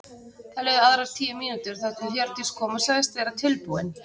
Það liðu aðrar tíu mínútur þar til Hjördís kom og sagðist vera tilbúin.